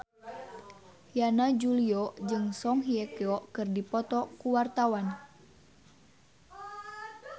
Yana Julio jeung Song Hye Kyo keur dipoto ku wartawan